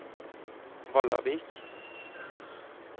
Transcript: Vallavik